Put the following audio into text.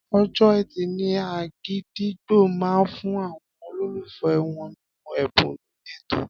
Ọjọ́ Ẹtì ni Àgídìgbo máa fún àwọn olólùfẹ́ wọn ní ẹ̀bùn lórí ètò.